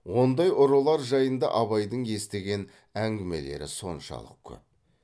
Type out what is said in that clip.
ондай ұрылар жайында абайдың естіген әңгімелері соншалық көп